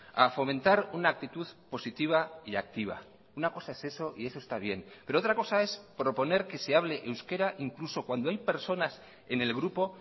a fomentar una actitud positiva y activa una cosa es eso y eso está bien pero otra cosa es proponer que se hable euskera incluso cuando hay personas en el grupo